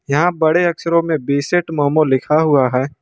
यहां बड़े अक्षरों में बिसेट मोमो लिखा हुआ है।